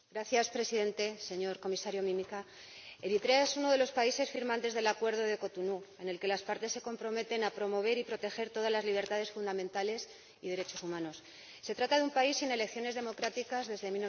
Señor Presidente, señor Comisario Mimica, Eritrea es uno de los países firmantes del Acuerdo de Cotonú, en el que las partes se comprometen a promover y proteger todas las libertades fundamentales y los derechos humanos. Se trata de un país sin elecciones democráticas desde